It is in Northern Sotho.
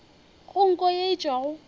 go nko ye e tšwago